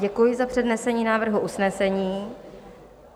Děkuji za přednesení návrhu usnesení.